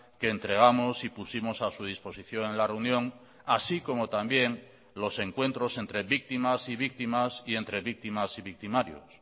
que entregamos y pusimos a su disposición en la reunión así como también los encuentros entre víctimas y víctimas y entre víctimas y victimarios